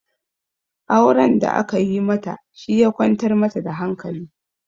Auren da aka yi mata shi ya kwantar mata da hankali